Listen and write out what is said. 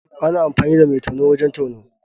Ana amfani da mai tono wajen tono.